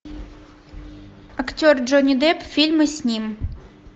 актер джонни депп фильмы с ним